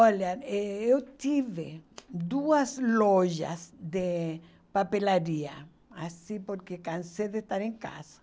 Olha, eu tive duas lojas de papelaria, assim, porque cansei de estar em casa.